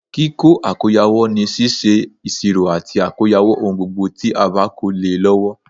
Kíkó àkóyawọ́ ni síse ìsirò àti àkóyawọ́ ohun gbogbo tí a ba ko le e lọwọ